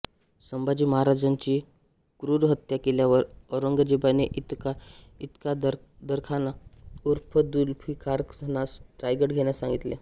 संभाजी महाराजांची क्रूर हत्या केल्यावर औरंगजेबाने इतकादरखान उर्फ जुल्फीकारखानास रायगड घेण्यास सांगितले